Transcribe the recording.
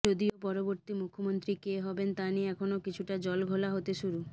যদিও পরবর্তী মুখ্যমন্ত্রী কে হবেন তা নিয়ে এখন কিছুটা জলঘোলা হতে শুরু